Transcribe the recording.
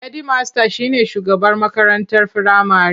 Hedimasta shi ne shugaban makarantar firamare.